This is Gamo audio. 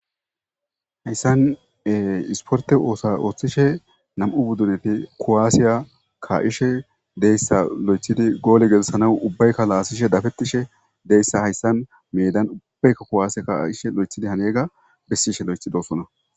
Hayssan isporte oosa ooththishe nam'u buddureti kowaasiya kaishe deyssa lo7echidi goole gelssanaw ubbaykka laasishe dafettishe deyssa hayssan medan uubbaykka kowaasi ka'ishe lo'echidi hanega bessishe loechi dosona.